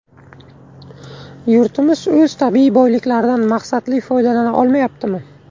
Yurtimiz o‘z tabiiy boyliklaridan maqsadli foydalana olmayaptimi?